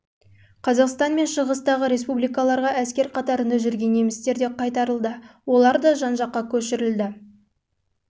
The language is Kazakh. қазақстан мен шығыстағы республикаларға әскер қатарында жүрген немістер де қайтарылды олар да жан-жаққа көшірілді осылайша соғыстан